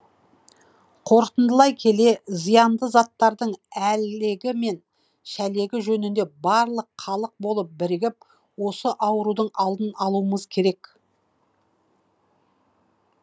қорытындылай келе зиянды заттардың әлегі мен шәлегі жөнінде барлық халық болып бірігіп осы аурудың алдын алуымыз керек